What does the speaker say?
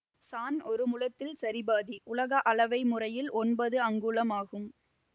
சாண் ஒரு முழத்தில் சரி பாதி உலக அளவை முறையில் ஒன்பது அங்குலம் ஆகும்